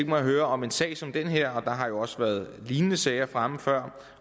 mig at høre om en sag som den her der har jo også været lignende sager fremme før